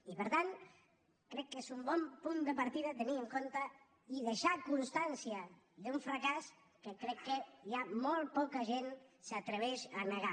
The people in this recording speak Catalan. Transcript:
i per tant crec que és un bon punt de partida tenir en compte i deixar constància d’un fracàs que crec que ja molt poca gent s’atreveix a negar